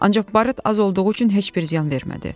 Ancaq barıt az olduğu üçün heç bir ziyan vermədi.